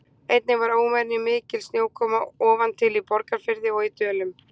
Einnig var óvenjumikil snjókoma ofan til í Borgarfirði og í Dölum.